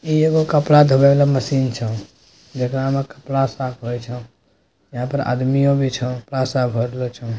ई एगो कपड़ा धोए वाला मशीन छौ जेकरा मे कपड़ा साफ होए छौ। यहां पर अदमियो भी छौ। पासा भर लो छौ--